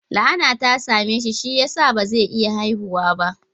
La'ana ta same shi, shi ya sa ba zai iya haihuwa ba